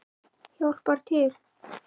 Hjálpar til.